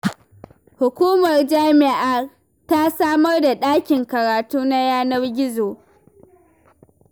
Hukumar jami'ar ta samar da ɗakin karatu na yanar gizo.